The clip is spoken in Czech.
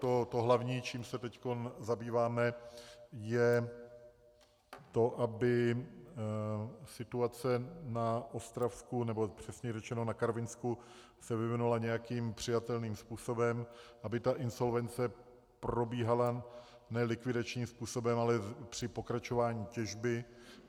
To hlavní, čím se teď zabýváme, je to, aby situace na Ostravsku, nebo přesněji řečeno na Karvinsku, se vyvinula nějakým přijatelným způsobem, aby ta insolvence probíhala ne likvidačním způsobem, ale při pokračování těžby.